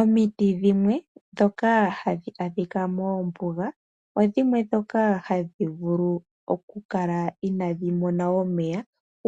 Omiti dhimwe ndhoka hadhi adhika moombuga odhimwe ndhoka hadhi vulu oku kala inaaadhi mona omeya